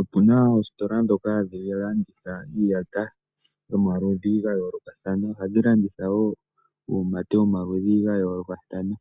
Opuna oositola ndhoka hadhi landitha iiyata gomaludhi ga yoolokathana nuumate womaludhi ga yoolokathana.